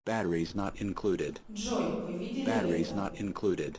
джой вы видели это